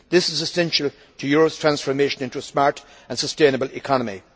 This is essential to Europe's transformation into a smart and sustainable economy.